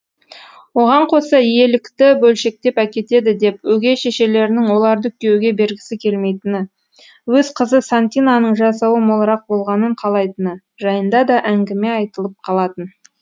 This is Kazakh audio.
оған қоса иелікті бөлшектеп әкетеді деп өгей шешелерінің оларды күйеуге бергісі келмейтіні өз қызы сантинаның жасауы молырақ болғанын қалайтыны жайында да әңгіме айтылып қалатын